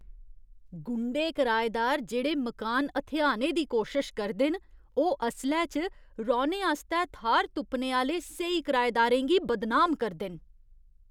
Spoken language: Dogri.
गुंडे कराएदार जेह्ड़े मकान हथेआने दी कोशश करदे न ओह् असलै च, रौह्ने आस्तै थाह्‌र तुप्पने आह्‌ले स्हेई कराएदारें गी बदनाम करदे न।